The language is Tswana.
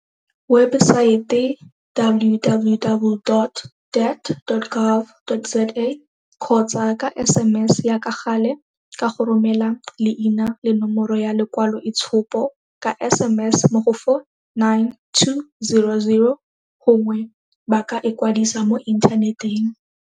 webesaete www dot dhet dot gov dot za kgotsa ka sms ya ka gale ka go romela leina le nomoro ya lekwaloitshupo ka SMS mo go 49200 gongwe ba ka ikwadisa mo inthaneteng.